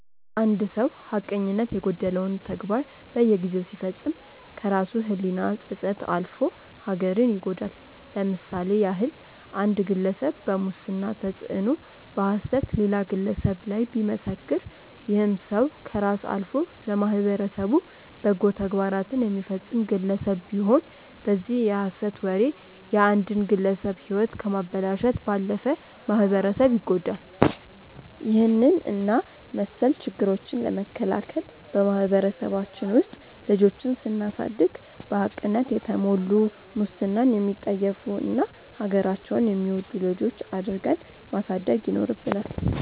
አንድ ሰው ሀቀኝነት የጎደለውን ተግባር በየጊዜው ሲፈጽም ከራሱ ህሊና ጸጸት አልፎ ሀገርን ይጎዳል። ለምሳሌ ያህል አንድ ግለሰብ በሙስና ተጽዕኖ በሐሰት ሌላ ግለሰብ ላይ ቢመሰክር ይህም ሰው ከራስ አልፎ ለማህበረሰቡ በጎ ተግባራትን የሚፈጸም ግለሰብ ቢሆን በዚህ የሐሰት ወሬ የአንድን ግለሰብ ህይወት ከማበላሸት ባለፈ ማህበረሰብ ይጎዳል። ይህንን እና መስል ችግሮችን ለመከላከል በማህበረሰባችን ውስጥ ልጆችን ስናሳደግ በሀቅነት የተሞሉ፣ ሙስናን የሚጠየፉ እና ሀገራቸውን የሚወዱ ልጆች አድርገን ማሳደግ ይኖርብናል።